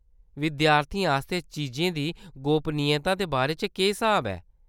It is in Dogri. विद्यार्थियें आस्तै चीजें दी गोपनीयता दे बारे च केह्‌‌ स्हाब ऐ?